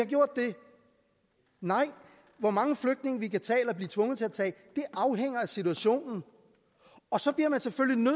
gjort det nej hvor mange flygtninge vi kan tage eller blive tvunget til at tage afhænger af situationen og så bliver man selvfølgelig